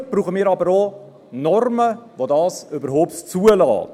Dazu brauchen wir aber auch Normen, die dies überhaupt zulassen.